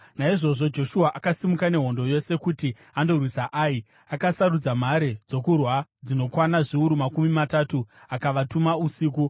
Naizvozvo Joshua akasimuka nehondo yose kuti andorwisa Ai. Akasarudza mhare dzokurwa dzinokwana zviuru makumi matatu akavatuma usiku.